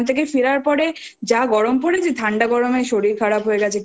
ওখান থেকে ফেরার পরে যা গরম পরেছে ঠাণ্ডা গরমে শরীর খারাপ হয়ে গেছে